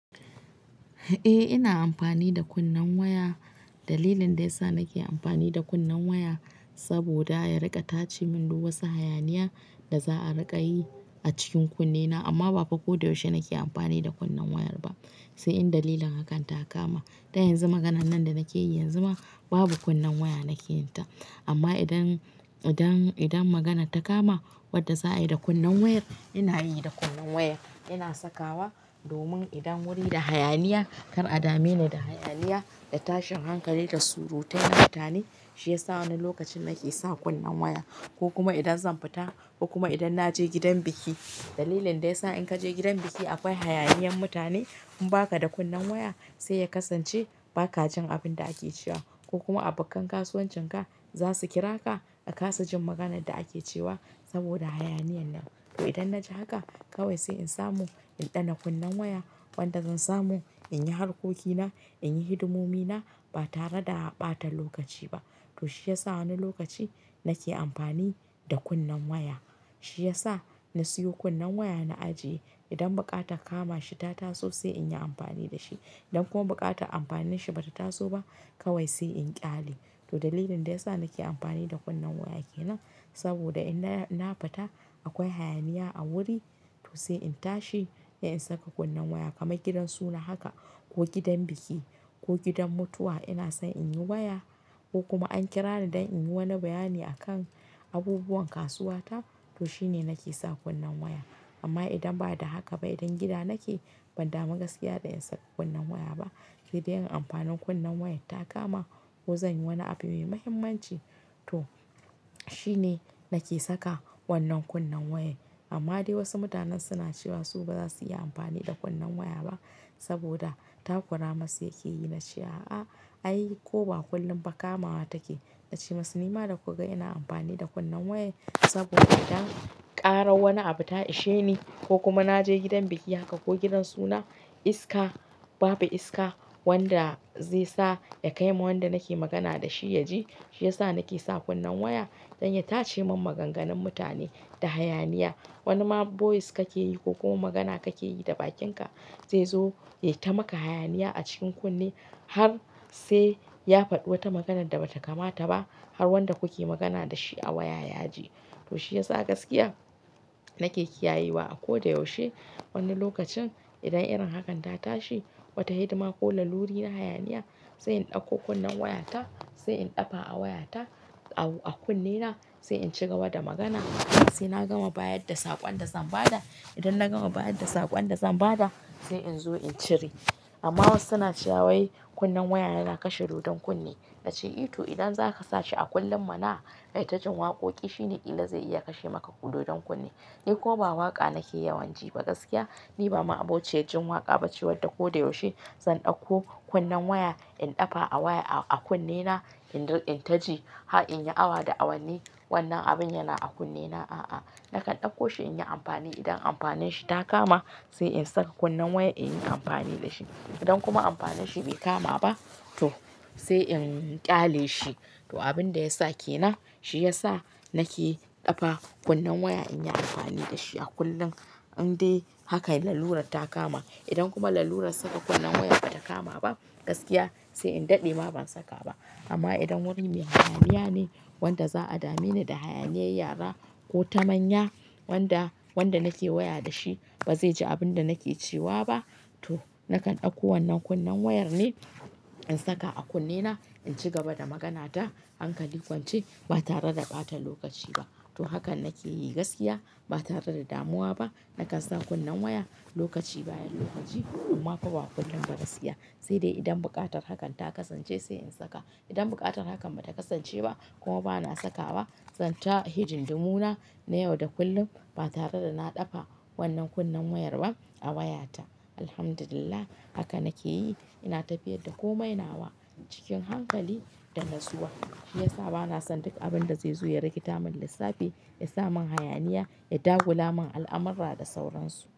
Eh ina amfani da kunnen waya. Dalilin da yasa nake amfani da kunnen waya saboda ya riƙa tace min duk wasu hayaniya da za a riƙa yi a cikin kunnena amma ba koda yaushe nake amfani da kunnen wayar ba. Sai in dalilin hakan ta kama. Dan yanzu maganan nan da nake yi yanzu ma babu kunnen waya nake yin ta amma idan, idan, idan maganar ta kama wanda za a yi da kunnen wayar ina yi da kunnen wayar. Ina saka wa domin idan wuri da hayaniya kar a dame ni da hayaniya da tashin hankali da surutai na mutane shi ya sa wani lokacin nake sa kunnen waya ko kuma idan zan fita ko kuma idan na je gidan biki. Dalilin da ya sa in ka je gidan biki akwai hayaniyan mutane in ba ka da kunnen waya sai ya kasance ba ka jin abin da ake cewa ko kuma abokan kasuwancin ka za su kira ka a kasa jin maganan da ake cewa saboda hayaniyan nan. To idan na je haka kawai sai in samu in ɗana kunnen waya wanda zan samu in yi harkokina, in yi hidimomi na ba tare da a ɓata lokaci ba. To shi ya sa wani lokaci nake amfani da kunnen waya. Shi ya sa na siyo kunnen waya na ajiye. Idan buƙatar kama shi ta taso sai in yi amfani da shi. Idan kuma buƙatar amfanin shi bata taso ba kawai sai in ƙyale. To dalilin da ya sa nake amfani da kunnen waya ke nan saboda ina, na fita akwai hayaniya a wuri to sai in tashi ai in saka kunnen waya kamar gidan suna haka ko gidan biki ko gidan mutuwa ina son in yi waya ko kuma an kira ni don in yi wani bayani akan abubuwan kasuwa ta to shine nake sa kunnen waya. Amma idan ba da haka ba idan gida nake ban damu gaskiya da in saka kunnen waya ba. Sai dai in amfanin kunnen wayan ta kama ko zan yi wani abu mai muhimmanci to shine nake saka wannan kunnen wayar. Amma dai wasu mutanen suna cewa su baza su iya amfani da kunnen waya ba saboda takura masu yake yi na ce a a ai ko ba kullum ba kama wa take. Na ce masu ni ma da kuka ina amfani da kunnen waya saboda idan ƙarar wani abu ta ishe ni ko kuma na je gidan biki haka ko gidan suna iska babu iska wanda zai sa ya kai wa wanda nake magana da shi ya ji shi ya sa nake sa kunnen waya don ya tace min maganganun mutane da hayaniya. Wani ma voice kake yi ko kuma magana kake yi da bakinka zai zo ya yi ta maka hayaniya a cikin kunne har sai ya faɗi wata maganan da bata kamata ba har wanda kuke magana da shi a waya ya ji. To shi ya sa gaskiya nake kiyayewa a ko da yaushe. Wani lokacin idan irin hakan ta tashi wata hidima ko laluri na hayaniya sai in ɗauko kunnen waya ta, sai in ɗafa a waya ta a kunnena sai in ci gaba da magana. Sai na gama bayar da saƙon da zan ba da idan na gama bayar da saƙon da zan ba da sai in zo in cire. Amma wasu suna cewa wai kunnen waya yana kashe dodon kunne. Na ce ito idan zaka sa shi a kullum mana, ayi ta jin waƙoƙi shine ƙilla zai iya kashe maka dodon kunne. Ni kuma ba waƙa nake yawan ji ba gaskiya ni ba ma'abociyan jin waƙa ba ce wadda koda yaushe zan ɗauko kunnen waya in ɗafa a waya a kunnena in taji, ha in yi awa da awanni wannan abin yana a kunnena a'a. Nakan ɗauko shi in yi amfani idan amfanin shi ta kama sai in saka kunnen waya in yi amfani da shi. Idan kuma amfanin shi bai kama ba to sai in ƙyale shi. To abin da ya sa ke nan shi ya sa nake ɗafa kunnen waya in yi amfani da shi a kullum. Indai hakan lalurar ta kama idan kuma lalurar saka kunnen wayar bata kama ba gaskiya sai in daɗe ma ban saka ba. Amma idan wurin miya hayaniya ne wanda za a dame ni da hayaniyar yara ko ta manya wanda, wanda nake waya da shi bazai ji abin da nake cewa ba to nakan ɗauko wannan kunnen wayar ne in saka a kunnena in ci gaba da magana ta hankali kwance ba tare da ɓata lokaci ba. To hakan nake yi gaskiya ba tare da damuwa ba nakan sa kunnen waya lokaci bayan lokaci kuma ko ba kullum ba gaskiya. Sai dai idan buƙatar hakan ta kasance sai in saka. Idan buƙatar hakan bata kasance ba kuma bana saka ba zan ta hidimdu na na yau da kullum ba tare da na ɗafa wannan kunnen wayar ba a waya ta. Alhamdulillah haka nake yi ina tafiyar da komai nawa cikin hankali da natsuwa. Shi ya sa bana son duk abin da zai zo ya rikita min lissafi, ya sa man hayaniya, ya dagula min al'amurra da sauransu.